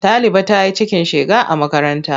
Ɗaliba ta yi cikin shega a makaranta.